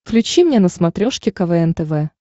включи мне на смотрешке квн тв